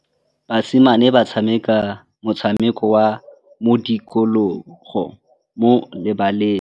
Basimane ba tshameka motshameko wa modikologô mo lebaleng.